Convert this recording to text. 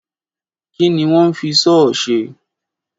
Kí ni wọ́n ń fi sọ́ọ̀ ṣe?